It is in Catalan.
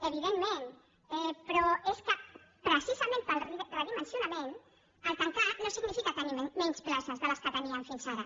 evidentment però és que precisament pel redimensionament tancar no significa tenir menys places de les que teníem fins ara